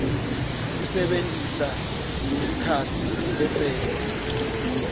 kusebentisa tikhatsi tesento